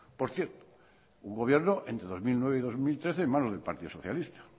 por cierto un gobierno entre dos mil nueve y dos mil trece en manos del partido socialista